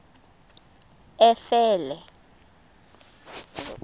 efele